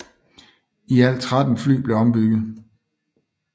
I alt 13 fly blev ombygget